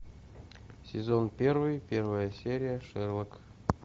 сезон первый первая серия шерлок